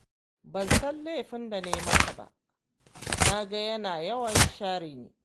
Ba san laifin da na yi masa ba, na ga yana yawan share ni